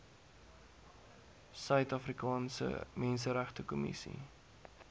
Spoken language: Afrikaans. suid afrikaanse menseregtekommissie